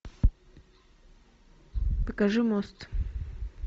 покажи мост